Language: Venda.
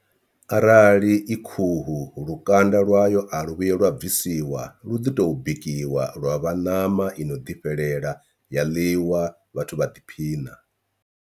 Arali i khuhu lukanda lwayo a lu vhuyi lwa bvisiwa lu ḓi to bikiwa lwa vha ṋama i no ḓifhelela ya ḽiwa vhathu vha ḓiphina.